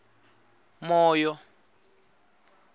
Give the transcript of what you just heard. moyo